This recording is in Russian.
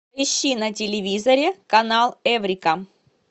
ищи на телевизоре канал эврика